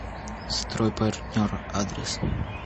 стройпартнер адрес